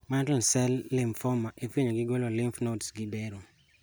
Mantle cell lymphoma ifuenyo gi golo lymph nodes gi bero